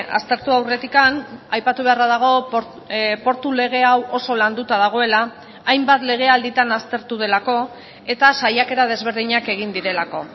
aztertu aurretik aipatu beharra dago portu lege hau oso landuta dagoela hainbat legealditan aztertu delako eta saiakera desberdinak egin direlako